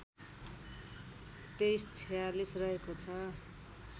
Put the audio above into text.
२३४६ रहेको छ